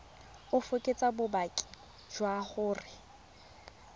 o fekese bopaki jwa gore